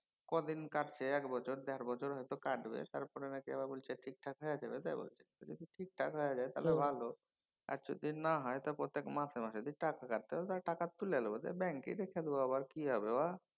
কদিন কাটছে। এক বছর দের বছর হয়ত কাটবে তারপর বলছে আবার নাকি ঠিক থাক হয়া যাবে। টাই বলছে। যদি ঠিক থাক হয়া যায় তাহলে ভালো। আর যদি না হয় তখন মাসে মাসে যদি টাকা কাটে তাহলে তো আর টাকা তুলে লেব। ব্যাঙ্কেই রেখে দেবো আবার । কি হবে